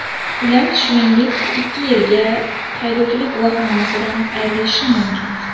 Ular, shuningdek, ikki yilga haydovchilik guvohnomasidan ayrilishi mumkin.